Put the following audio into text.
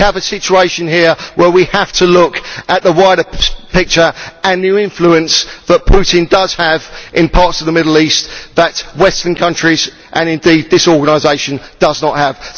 We have a situation here where we have to look at the wider picture and the influence that Putin does have in parts of the Middle East that Western countries and indeed this organisation do not have.